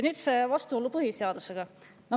Nüüd vastuolust põhiseadusega.